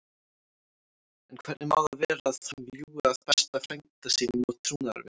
En hvernig má það vera að hann ljúgi að besta frænda sínum og trúnaðarvini?